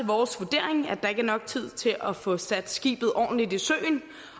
vores vurdering at der ikke er nok tid til at få sat skibet ordentligt i søen